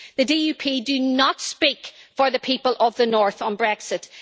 The DUP do not speak for the people of the North on Brexit.